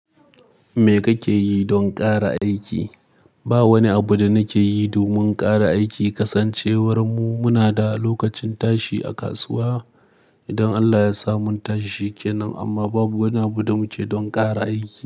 Me kake yi don ƙara aiki? Ba wani abu da nake yi domin ƙara aiki, kasancewar mu muna da lokacin tashi a kasuwa. Idan Allah ya sa mun tashi sheke nan. Amma babu wani abu da muke don ƙara aiki.